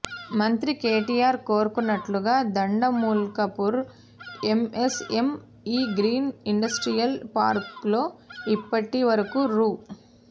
మంత్రి కేటీఆర్ కోరుకున్నట్టుగా Dandumalkapur MS M E green industrial పార్కులో ఇప్పటి వరకు రూ